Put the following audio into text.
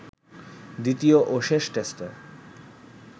দ্বিতীয় ও শেষ টেস্টে